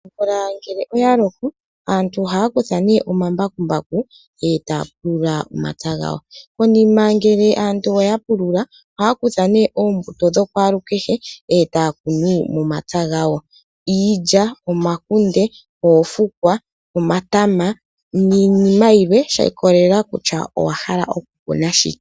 Omvula ngele oya loko aantu oha kutha nee omambakumbaku eta pulula omapya gayo koniima ngele aantu oyapulu ohakutha ne ombuto dha kwalu kehe eta kunu omapya gayo iilya ,omakunde, oofukwa, omatama niinima yimwe shi ikolelela kutya owahala okukuna shike.